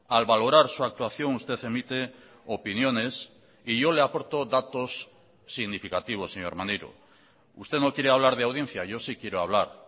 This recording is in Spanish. al valorar su actuación usted emite opiniones y yo le aporto datos significativos señor maneiro usted no quiere hablar de audiencia yo sí quiero hablar